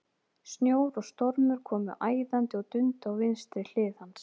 Snjór og stormur komu æðandi og dundu á vinstri hlið hans.